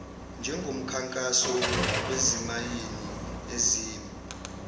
njengomkhankaso wezimayini ezimba